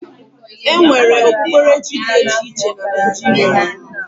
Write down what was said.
E nwere okpukperechi dị iche iche na Naijiria.